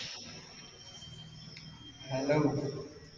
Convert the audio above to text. hello